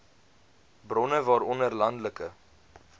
bronne waaronder landelike